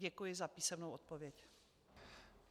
Děkuji za písemnou odpověď.